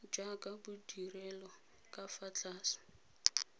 jaaka bodirelo ka fa tlase